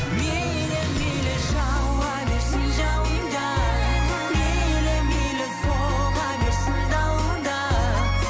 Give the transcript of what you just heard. мейлі мейлі жауа берсін жауын да мейлі мейлі соға берсін дауыл да